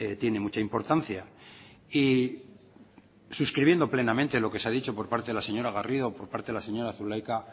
tiene mucha importancia y suscribiendo plenamente lo que se ha dicho por parte de la señora garrido por parte de la señora zulaika